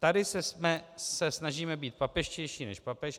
Tady se snažíme být papežštější než papež.